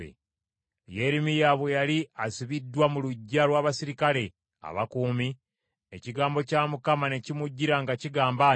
Yeremiya bwe yali asibiddwa mu luggya lw’abaserikale abakuumi, ekigambo kya Mukama ne kimujjira nga kigamba nti,